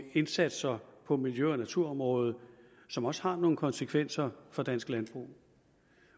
indsatser på miljø og naturområdet som også har nogle konsekvenser for dansk landbrug